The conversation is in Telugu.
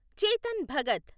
చేతన్ భగత్